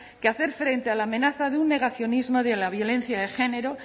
que hacer frente a la amenaza de un negacionismo de la violencia de género